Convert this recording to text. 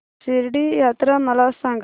शिर्डी यात्रा मला सांग